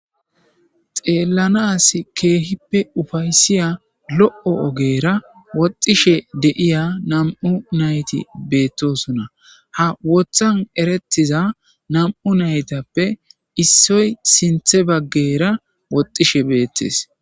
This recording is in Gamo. Xelanas kehippe ufeysiya lo'o ogera nam'u nayti wotha woxishe de'osona. Ha wothan eretiza nam'u naytappe issoy sintha bagara woxishe betees.